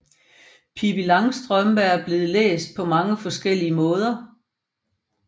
Pippi Langstrømpe er blevet læst på mange forskellige måder